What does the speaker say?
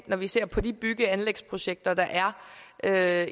når vi ser på de bygge og anlægsprojekter der er at